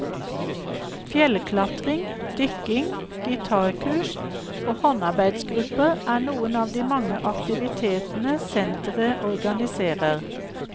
Fjellklatring, dykking, gitarkurs og håndarbeidgrupper er noen av de mange aktivitetene senteret organiserer.